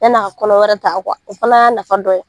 Yann'a ka kɔnɔ wɛrɛ ta o fana y'a nafa dɔ ye.